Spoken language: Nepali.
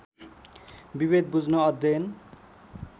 विभेद बुझ्न अध्ययन